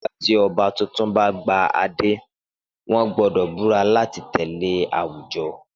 Nígbà tí ọba tuntun bá de adé, wọ́n gbọ́dọ̀ búra láti tẹ̀lé àwùjọ.